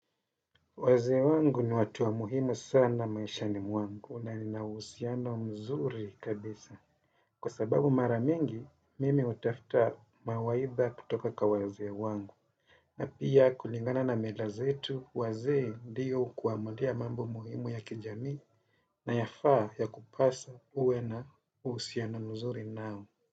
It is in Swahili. Wazee wangu ni watu wa muhimu sana maishani mwangu na nina uhusiano mzuri kabisa. Kwa sababu mara mingi, mimi utafta mawaidha kutoka kwa wazee wangu. Na pia kulingana na meda zetu, wazee diyo kuamulia mambo muhimu ya kijamii na yafaa yakupasa uwe na uusiano mzuri nao.